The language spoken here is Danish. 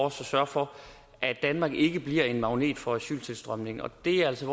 at sørge for at danmark ikke bliver en magnet for asyltilstrømningen og det er altså